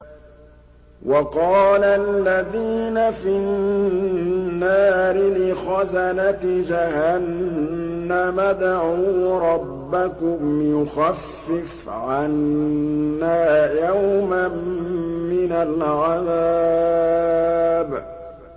وَقَالَ الَّذِينَ فِي النَّارِ لِخَزَنَةِ جَهَنَّمَ ادْعُوا رَبَّكُمْ يُخَفِّفْ عَنَّا يَوْمًا مِّنَ الْعَذَابِ